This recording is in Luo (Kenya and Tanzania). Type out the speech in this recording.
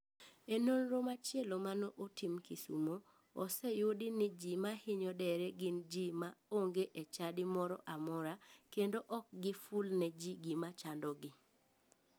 E nonro machielo mane otim kisumo, oseyudi ni ji mahinyo dere gin ji ma onge e chadi moro amora kendo ok giful ne ji gima chandogi.